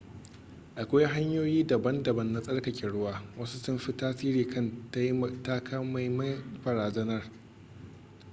akwai hanyoyi daban-daban na tsarkake ruwa wasu sun fi tasiri kan takamaiman barazanar